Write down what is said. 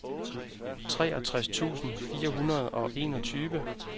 treogtres tusind fire hundrede og enogtyve